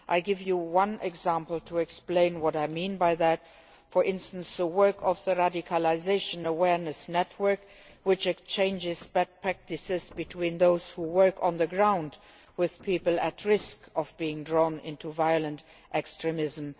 I will give you one example to explain what I mean, and that is the work of the Radicalisation Awareness Network, which exchanges best practices between those who work on the ground with people at risk of being drawn into violent extremism.